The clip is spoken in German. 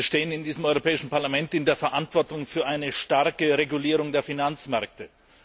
Wir stehen in diesem Europäischen Parlament in der Verantwortung für eine starke Regulierung der Finanzmärkte.